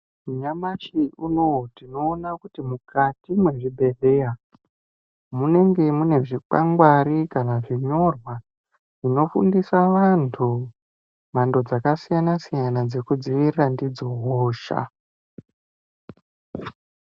Nyamashi unowo tinoona kuti mukati muzvibhehleya munenge mune zvikwangwari kana zvinyorwa zvinofundisa vantu mhando dzakasiyana siyana dzekudziirira ndidzo hohsa